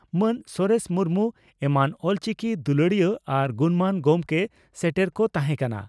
ᱢᱟᱱ ᱥᱚᱨᱮᱥ ᱢᱩᱨᱢᱩ ᱮᱢᱟᱱ ᱚᱞᱪᱤᱠᱤ ᱫᱩᱞᱟᱹᱲᱤᱭᱟᱹ ᱟᱨ ᱜᱩᱱᱢᱟᱱ ᱜᱚᱢᱠᱮ ᱥᱮᱴᱮᱨ ᱠᱚ ᱛᱟᱦᱮᱸ ᱠᱟᱱᱟ ᱾